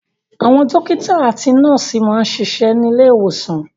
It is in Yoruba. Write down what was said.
Àwọn dọ́kítá àti nọ́ọ́sì máa ń ṣiṣẹ́ ní ilé-ìwòsàn.